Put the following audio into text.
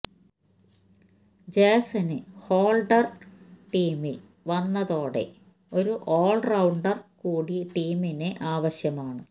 Jason Holder ടീമില് വന്നതോടെ ഒരു ഓള്റൌണ്ടര് കൂടി ടീമിന് ആവശ്യമാണ്